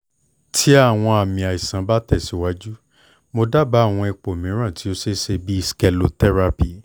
ti awọn aami aisan ba tẹsiwaju mo daba awọn ipo miiran ti o ṣeeṣe bii sclerotherapy